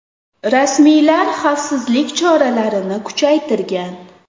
Rasmiylar xavfsizlik choralarini kuchaytirgan.